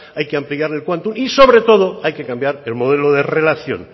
hay que ampliar el quantum y sobre todo hay que cambiar el modelo de relación